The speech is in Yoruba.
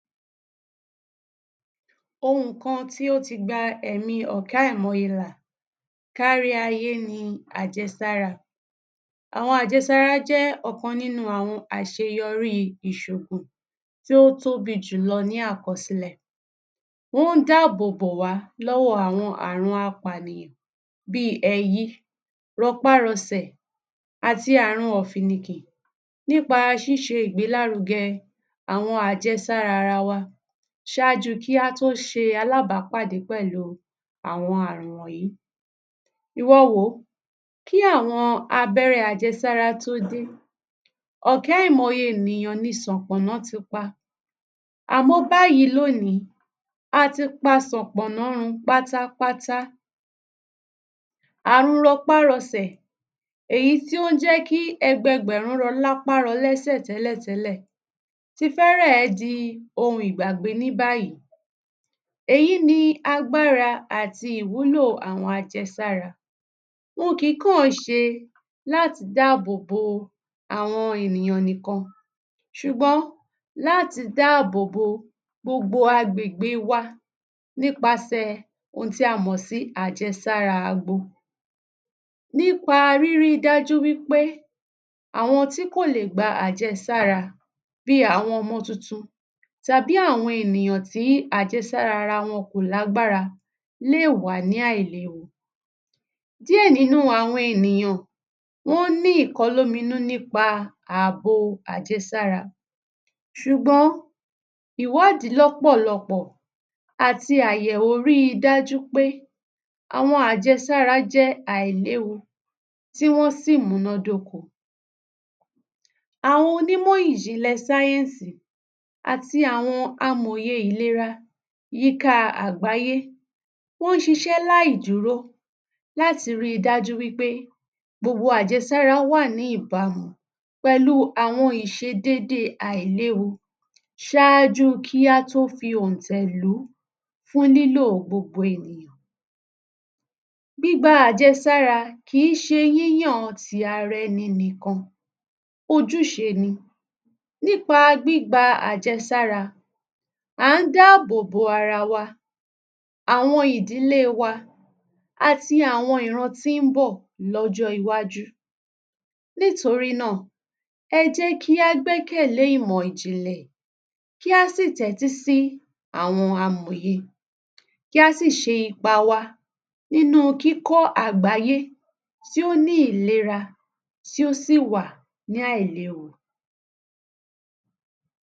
Ohun kan tí ó ti gba ẹ̀mí ọ̀kẹ́ àìmọye là káríayé ni àjẹsára. Àwọn àjẹsára jẹ́ ọ̀kan nínú àwọn àṣeyọrí ìṣògùn tí ó tóbi jùlọ ní àkọsílẹ̀. Ó ń dáàbòbò wà lọ́wọ́ àwọn àrùn apànìyàn bí i: ẹyí, rọpárọsẹ̀ àti àrùn ọ̀fìnnìkì. Nípa ṣíse ìgbélárugẹ àwọn àjẹsára ara wa ṣáájú kí a tó ṣe alábàápàdé pẹ̀lú àwọn àrùn wọ̀nyí. Ìwọ wò ó, kí àwọn abẹ́rẹ́ àjẹsára tó dé, ọ̀kẹ́ àìmọye ènìyàn ni Ṣànpọ́nná ti pa. Àmọ́ báyìí lónìí, a ti pa ṣànpọ́nná run pátápátá. Àrùn rọpárọsẹ̀ èyí tí ó ń jẹ́ kí ẹgbẹgbẹ̀rún rọ lápá rọ lẹ́sẹ̀ tẹ́lẹ̀tẹ́lẹ̀ ti fẹ́ẹ́rẹ̀ di ohun ìgbàgbé ní báyìí. Èyí ni agbára àti ìmúlò àwọn àjẹsára. Wọn kì í kàn ṣe láti dáàbòbò àwọn ènìyàn nìkan ṣùgbọ́n láti dáàbò gbogbo agbègbè wa nípaṣẹ̀ ohun tí a mọ̀ sí àjẹsára àbo. Nípa rírí dájú wí pé àwọn tí kò lè gba àjẹsára bí i: àwọn ọmọ tuntun, tàbí àwọn ènìyàn tí àjẹsára ara wọn kò lágbára lè wá ní àìléwu. Díẹ̀ nínú àwọn ènìyàn wọ́n ní ìkọlóominú nípa àbo àjẹsára ṣùgbọ́n ìwádìí lọ́pọ̀lọpọ̀ àti àyẹ̀wò rí dájú pé àwọn àjẹsára jẹ́ àìléwu tí wọ́n sì múná dóko. Àwọn Onìmọ́ Ìjìnlẹ̀ Science àti àwọn Amọ̀ye Ìlera yíká Agbàyé wọ́n ṣíṣẹ́ láìdúró láti rí dájú wí pé gbogbo àjẹsára wà ní ìbámu pẹ̀lú àwọn ìṣedédé àìléwu ṣáájú kí á tó fi òhùntẹ̀ lùú fún lílò gbogbo ènìyàn. Gbígba àjẹsára kì í ṣe yíyàn ti ara ẹni nìkan ojúṣe ni. Nípa gbígba àjẹsára à ń dáàbò ara wa, àwọn ìdílé wa àti àwọn ìran tí ń bọ̀ lọ́jọ́ iwájú. Nítorí náà, ẹ jẹ́ kí a gbẹ́kẹ̀lé ìmọ̀ Ìjìnlẹ̀ kí a sì tẹ́tí sí àwọn amòye kí a sì ṣe ipa wa nínú kíkọ̀ àgbáyé tí ó ní ìlera tí ó sì wà ní àìléwu.